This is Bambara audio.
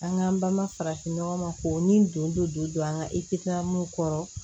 An ka an ba ma farafin nɔgɔ ma k'o ni dondo don an ka kɔrɔ